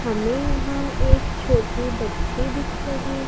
हमें यहां एक छोटी बच्ची दिख रही--